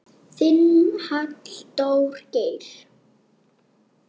Þinn, Halldór Geir.